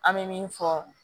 An bɛ min fɔ